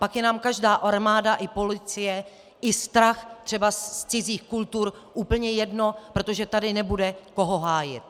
Pak je nám každá armáda i policie i strach třeba z cizích kultur úplně jedno, protože tady nebude koho hájit.